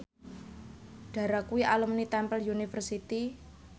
Dara kuwi alumni Temple University